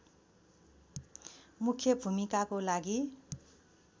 मुख्य भूमिकाको लागि